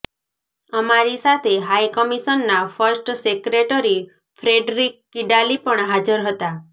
અમારી સાથે હાઈ કમિશનના ફર્સ્ટ સેક્રેટરી ફ્રેડરિક કિડાલી પણ હાજર હતા